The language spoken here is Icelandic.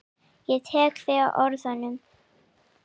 Ég tek þig á orðinu!